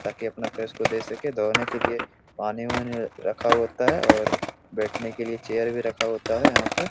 ताकि अपने फेस को धो सके धोने के लिए पानी ऊनि रखा होता है और बैठने के लिए चेयर भी रखा होता है यहाँ पे --